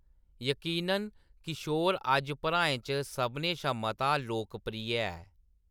यकीनन, किशोर अज्ज भ्राएं च सभनें शा मता लोकप्रिय ऐ।